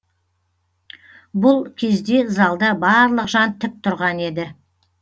бұл кезде залда барлық жан тік тұрған еді